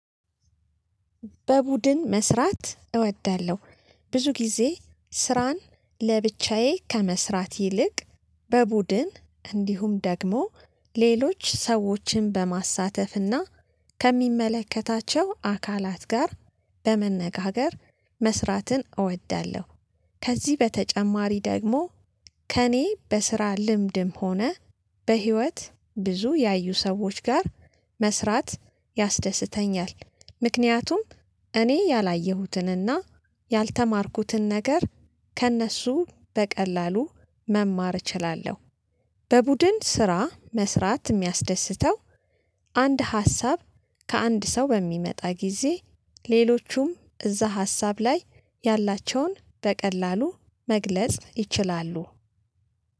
በቡድን መስራት እወዳለሁ ብዙ ጊዜ ስራን ለብቻዬ ከመስራት ይልቅ በቡድን እንዲሁም ደግሞ ሌሎች ሰዎችን በማሳተፍና ከሚመለከታቸው አካላት ጋር በመነጋገር መስራትን እወዳለሁ። ከዚህ በተጨማሪ ደግሞ ከእኔ በስራ ልምድም ሆነ በህይወት ብዙ ያዩ ሰዎች ጋር መስራት ያስደስተኛል ምክንያቱም እኔ ያላየሁትንና ያልተማርኩትን ነገር ከእነሱ በቀላሉ መማር እችላለሁ። በቡድን ስራ መስራት ሚያስደስተው አንድ ሀሳብ ከአንድ ሰው በሚመጣ ጊዜ ሌሎቹም እዛ ሀሳብ ላይ ያላቸውን በቀላሉ መግለጽ ይችላሉ።